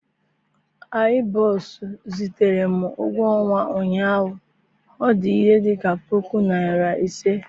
i boss zitere m ụgwọ ọnwa ụnyahụ, ọ dị ihe dị ka puku naira ise